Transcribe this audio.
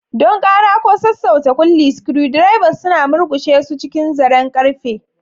Don ƙara ko sassauta kulli, screwdrivers suna murƙushe su cikin zaren ƙarfe.